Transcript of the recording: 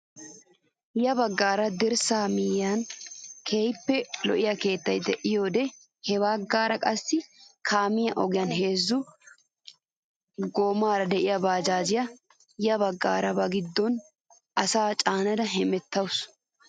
Ya baggaara dirssaa miyiyaan keehippe lo"iyaa keettay de'iyoode ha baggaara qassi kaamiyaa ogiyaan heezzu goomara de'iyaa bajaajiyaa yaagiyoora ba giddon asaa caanada hemettawus!